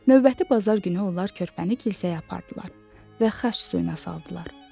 Növbəti bazar günü onlar körpəni kilsəyə apardılar və xaç suyuna saldılar.